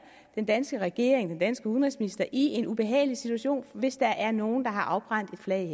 den danske regering og den danske udenrigsminister i en ubehagelig situation hvis der er nogle der har afbrændt et flag